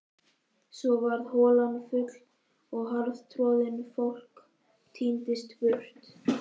Svo varð holan full og harðtroðin, fólk tíndist burt.